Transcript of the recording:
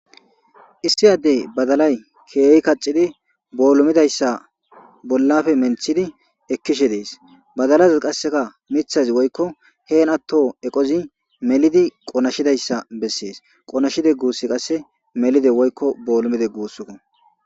Issi adde badalayi keehi kaxidi pulimida issa bolappe menitidi ekishe dees.badalayi qassika mithazi woykko hegato melidi qonashidi issa beses.qonashida issa gusi qassi melida bollomida gusako